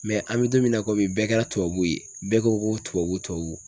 an bɛ don min na ko bi bɛɛ kɛra tubabu ye, bɛɛ ko ko tubabu tubabu.